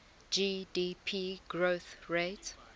gdp growth rate